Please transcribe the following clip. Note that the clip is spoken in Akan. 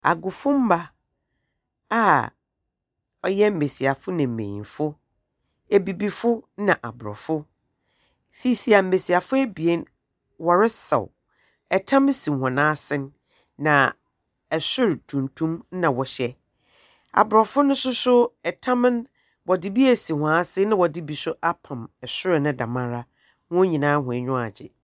Ɔdan mu a tiehwɛ afiri bɔ dan ne ho. Nkonwa sisi hɔ . Nkanea bobɔ dan no mu. Nhwiren sisi ɔpono so. Ɛgyinamoa tuntum da fam hɔ nom.